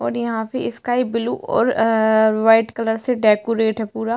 और यहाँ पे स्काई ब्लू और आ वाइट कलर से डेकोरेट है पूरा।